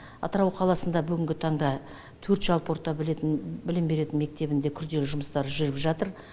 атырау қаласында бүгінгі таңда төрт жалпы орта білетін білім беретін мектебінде күрделі жұмыстар жүріп жатыр